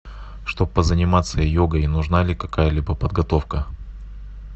чтоб позаниматься йогой нужна ли какая либо подготовка